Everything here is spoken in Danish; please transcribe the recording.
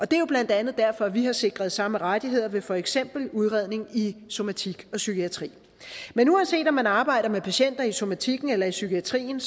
det er jo blandt andet derfor vi har sikret samme rettigheder ved for eksempel udredning i somatik og psykiatri men uanset om man arbejder med patienter i somatikken eller psykiatrien